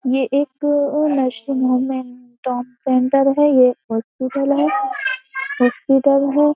ये एक nursing home and trauma centre है ये हॉस्पिटल है हॉस्पिटल है।